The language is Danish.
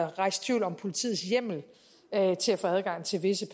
rejst tvivl om politiets hjemmel til at få adgang til visse